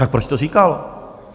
Tak proč to říkal?